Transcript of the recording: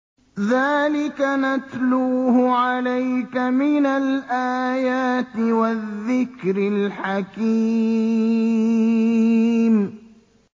ذَٰلِكَ نَتْلُوهُ عَلَيْكَ مِنَ الْآيَاتِ وَالذِّكْرِ الْحَكِيمِ